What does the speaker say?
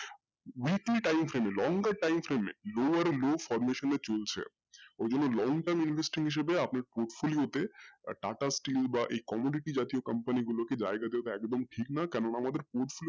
type এর ই longer type এ lower low formation এ চলছে ওইজন্য long term investment এ শুধু আপনার portfolio তে TATA steel বা জাতীয় company গুলোতে জায়গা গুলো একদন ঠিক না কারন আমাদের,